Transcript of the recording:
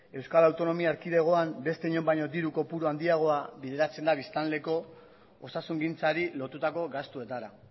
euskal autonomia erkidegoan beste inon baino diru kopuru handiagoa bideratzen da biztanleko osasungintzari lotutako gastuetara